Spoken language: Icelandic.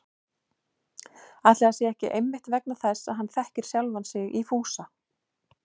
Ætli það sé ekki einmitt vegna þess að hann þekkir sjálfan sig í Fúsa